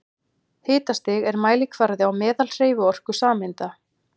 Hitastig er mælikvarði á meðalhreyfiorku sameinda.